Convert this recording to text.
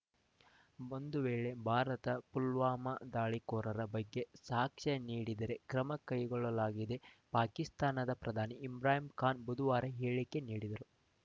ಒಂದು ವೇಳೆ ಭಾರತ ಪುಲ್ವಾಮಾ ದಾಳಿಕೋರರ ಬಗ್ಗೆ ಸಾಕ್ಷ್ಯ ನೀಡಿದರೆ ಕ್ರಮ ಕೈಗೊಳ್ಳುವುದಾಗಿ ಪಾಕಿಸ್ತಾನದ ಪ್ರಧಾನಿ ಇಮ್ರಾನ್‌ ಖಾನ್‌ ಬುಧುವಾರ ಹೇಳಿಕೆ ನೀಡಿದ್ದರು